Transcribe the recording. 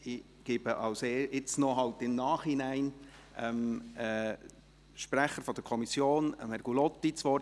Ich gebe jetzt noch im Nachhinein dem Sprecher der Kommission, Herrn Gullotti, das Wort.